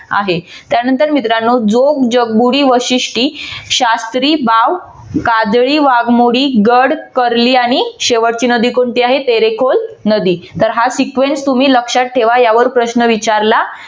आहे त्यानंतर मित्रानो जो जगबुडी वाशिष्टी शास्त्री बाव काजळी वाघमोडी गड करली आणि शेवटची नदी कोणती आहे तेरेकुल नदी तर हा sequence तुम्ही लक्षात ठेवा यावर प्रश्न विचारला